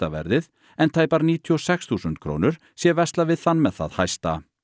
verðið en tæpar níutíu og sex þúsund krónur sé verslað við þann með það lægsta